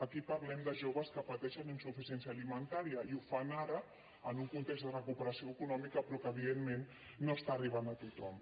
aquí parlem de joves que pateixen insuficiència alimentària i ho fan ara en un context de recuperació econòmica però que evidentment no arriba a tothom